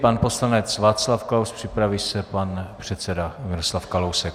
Pan poslanec Václav Klaus, připraví se pan předseda Miroslav Kalousek.